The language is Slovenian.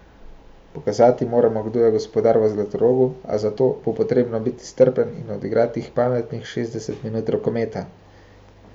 Pokazati moramo, kdo je gospodar v Zlatorogu, a za to bo potrebno biti strpen in odigrati pametnih šestdeset minut rokometa.